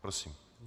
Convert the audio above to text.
Prosím.